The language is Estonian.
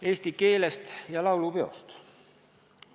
Eesti keelest ja laulupeost.